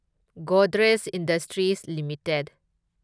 Godrej industries limited